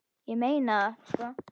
Ég meina það, sko.